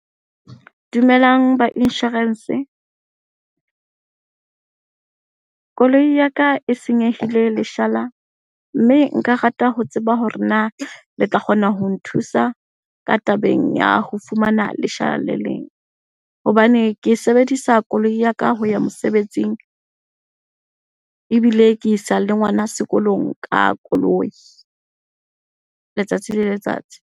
Dumelang ba insurance. Koloi ya ka e senyehile leshala mme nka rata ho tseba hore na le tla kgona ho nthusa ka tabeng ya ho fumana leshala le leng. Hobane ke sebedisa koloi ya ka ho ya mosebetsing, ebile ke isa le ngwana sekolong ka koloi letsatsi le letsatsi.